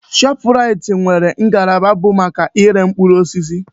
Shọpraịt nwere ngalaba bụ maka iré mkpụrụ osisi.